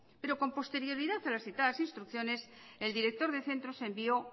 pero con posterioridad a las citadas instrucciones el director de centros envió